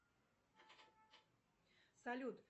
салют